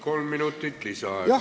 Kolm minutit lisaaega.